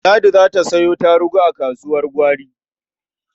Ladi za ta sayo tarugu a kasuwar gwari.